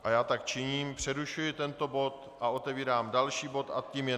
A já tak činím, přerušuji tento bod a otevírám další bod a tím je